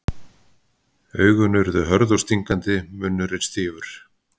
Augun urðu hörð og stingandi, munnurinn stífur.